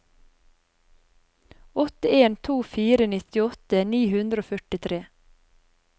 åtte en to fire nittiåtte ni hundre og førtitre